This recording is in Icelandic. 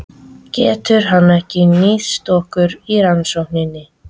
Getur hann ekki nýst ykkur í rannsókninni?